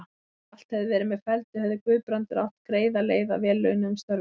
Ef allt hefði verið með felldu, hefði Guðbrandur átt greiða leið að vel launuðum störfum.